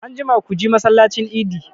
Anjima ku ji masallacin idi!